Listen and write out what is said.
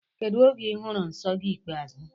Kedụ oge I hụrụ nsọ gị ikpeazụ?